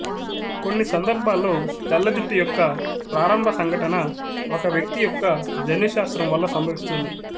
కొన్ని సందర్భాల్లో తెల్ల జుట్టు యొక్క ప్రారంభ సంఘటన ఒక వ్యక్తి యొక్క జన్యుశాస్త్రం వల్ల సంభవిస్తుంది